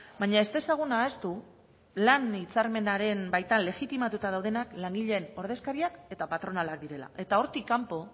baina ez dezagun ahaztu lan hitzarmenaren baitan legitimatuta daudenak langileen ordezkariak eta patronala direla eta hortik kanpo